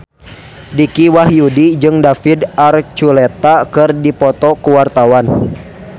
Dicky Wahyudi jeung David Archuletta keur dipoto ku wartawan